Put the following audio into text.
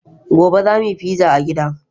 Gobe, za mu yi pizza a gida.